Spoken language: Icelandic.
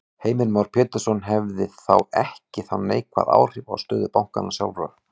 Heimir Már Pétursson: Hefði það ekki þá neikvæð áhrif á stöðu bankanna sjálfra?